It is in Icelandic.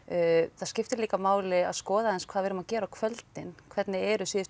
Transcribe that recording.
það skiptir líka máli að skoða aðeins hvað við erum að gera á kvöldin hvernig eru síðustu